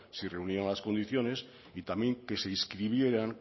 si reunían las condiciones y también que se inscribieran